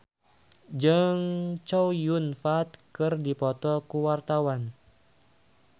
Marcel Chandrawinata jeung Chow Yun Fat keur dipoto ku wartawan